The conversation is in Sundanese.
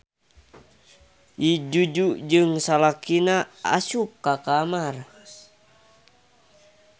Nyi Juju jeung salakina asup ka kamar.